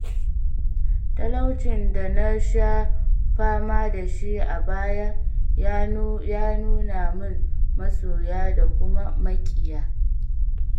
Talaucin da nasha fama dashi a baya ya nuna mun masoya da kuma maƙiya.